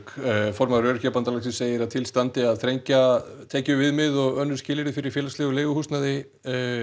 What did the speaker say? formaður Öryrkjabandalagsins segir að til standi að þrengja tekjuviðmið og önnur skilyrði fyrir félagslegu leiguhúsnæði